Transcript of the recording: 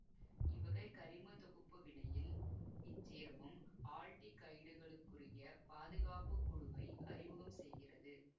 இவ்வகைக் கரிம தொகுப்பு வினையில் இச்சேர்மம் ஆல்டிகைடுகளுக்குரிய பாதுகாப்பு குழுவை அறிமுகம் செய்கிறது